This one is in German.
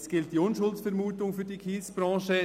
Es gilt die Unschuldsvermutung für die Kiesbranche.